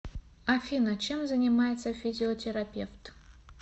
афина чем занимается физиотерапевт